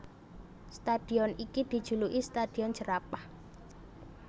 Stadion iki dijuluki Stadion Jerapah